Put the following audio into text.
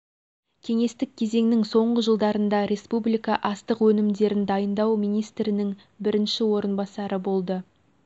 кеңестік кезеңнің соңғы жылдарында республика астық өнімдерін дайындау министрінің бірінші орынбасары болды